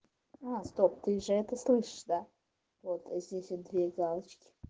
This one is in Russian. а стоп ты же это слышишь да вот здесь вот две галочки